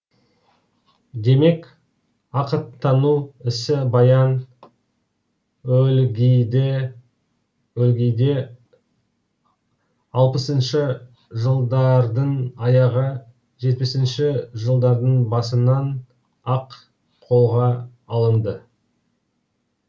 демек ақыттану ісі баян өлгейде өлгейде алпысыншы жылдардың аяғы жетпісінші жылдардың басынан ақ қолға алынды